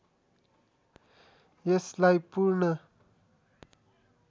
यसलाई पूर्ण